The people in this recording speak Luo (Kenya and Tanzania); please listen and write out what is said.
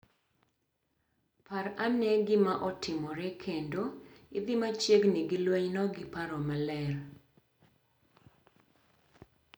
Par ane gima otimore kendo idhi machiegni gi lwenyno gi paro maler.